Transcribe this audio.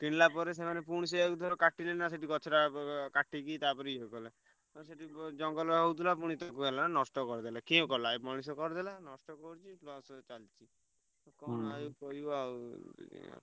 କିଣିଲା ପରେ ସେମାନେ ପୁଣି ସେୟାକୁ ଧର କାଟିଲେ ନା ସେଠି ଗଛଟା କାଟିକି ତାପରେ ଇଏ କଲେ। ସେଠି ଜଙ୍ଗଲ ହଉଥିଲା ପୁଣି ନଷ୍ଟ କରିଦେଲେ କିଏ କଲା ଏଇ ମଣିଷ କରିଦେଲେ ନଷ୍ଟ କରିଦେଲେ ଏଇ କରିବ ଆଉ।